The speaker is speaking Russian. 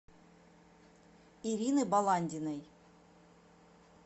ирины баландиной